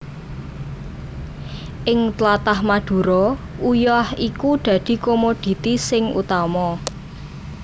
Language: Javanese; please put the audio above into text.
Ing tlatah Madura uyah iku dadi komoditi sing utama